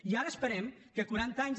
i ara esperem que quaranta anys